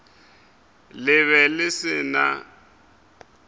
le be le se na